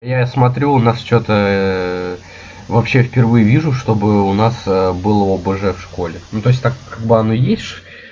я смотрю у нас что-то вообще в первые вижу что бы у нас было бы о б ж в школе ну то есть так как бы оно есть ш